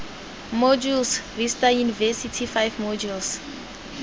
modules vista university five modules